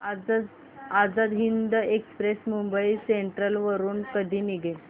Azad Hind express Mumbai central वरून कधी निघेल